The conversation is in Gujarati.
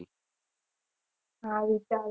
હા વિચારું